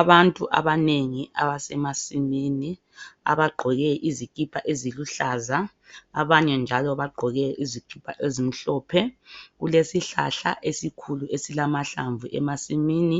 Abantu abanengi abesemasini abagqoke izikipa eziluhlaza abanye njalo bagqoke izikipa ezimhlophe kulesihlahla esikhulu esilamahlamvu emasimini